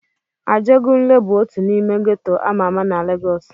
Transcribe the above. Ajegunle bụ otu n'ime geto ama ama na Legọs.